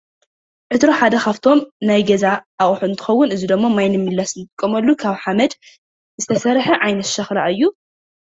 ዕትሮ ሓደ ካብቶም ናይ ገዛ ኣቑሑ እንትኸውን እዚ ድማ ማይን ንምምልላስ ንጥቀመሉ ካብ ሓመድ ዝተሰርሐ ዓይነት ሸኽላ እዩ።